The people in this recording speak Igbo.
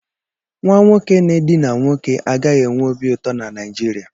Nwa nwoke n'edina nwoke agaghị enwe obi ụtọ na Naijiriya.